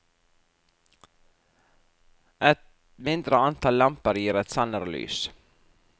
Et mindre antall lamper gir et sannere lys.